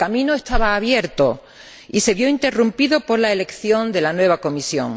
El camino estaba abierto y se vio interrumpido por la elección de la nueva Comisión.